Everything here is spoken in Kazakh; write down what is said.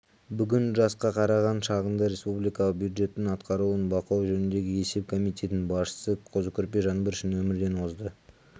бүгін жасқа қараған шағында республикалық бюджеттің атқарылуын бақылау жөніндегі есеп комитетінің басшысы қозыкөрпеш жаңбыршин өмірден озды